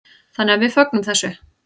Þannig að við fögnum þessu.